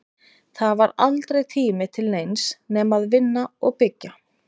Það var aldrei tími til neins nema að vinna og byggja.